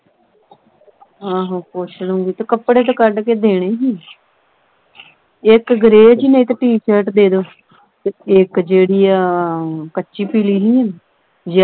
ਆਹੋ ਪੁਛ ਲਉਗੀ ਤੇ ਕਪੜੇ ਤੇ ਕੱਢ ਕੇ ਦੇਣੇ ਹੀ ਇਕ gray ਜਹੀ ਨਹੀਂ ਤੇ t-shirt ਦੇ ਦਿਓ ਤੇ ਇਕ ਜਿਹੜੀ ਆਹ ਕੱਚੀ ਪੀਲੀ ਜੀ ਨਹੀਂ